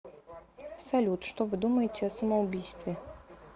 салют что вы думаете о самоубийстве